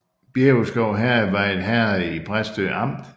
Bjæverskov Herred var et herred i Præstø Amt